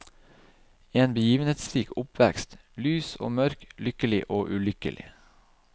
En begivenhetsrik oppvekst, lys og mørk, lykkelig og ulykkelig.